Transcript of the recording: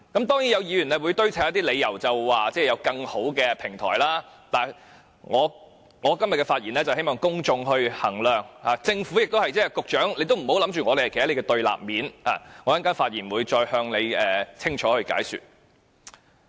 當然，有議員會堆砌理由說有更好的平台，但我今天的發言是希望公眾衡量，政府亦如是，局長也不要認定我們站在你的對立面，我稍後發言會再向你清楚解說。